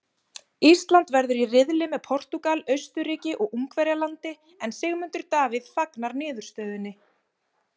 Ísland verður í riðli með Portúgal, Austurríki og Ungverjalandi en Sigmundur Davíð fagnar niðurstöðunni.